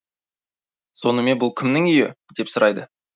сонымен бұл кімнің үйі деп сұрайды